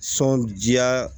Sɔndiya